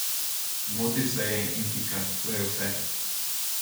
Zmotil sem se in pika, to je vse.